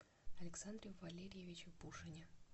александре валерьевиче пушине